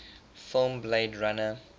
film blade runner